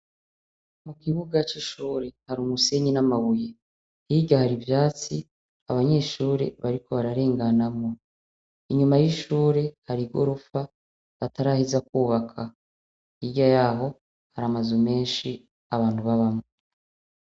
Mu kibuga c'ishure hari umusenyi n'amabuye, hirya hari ivyatsi abanyeshure bariko bararenganamwo, inyuma y'ishure hari igorofa bataraheza kwubaka, hirya yaho hari amazu menshi abantu babamwo.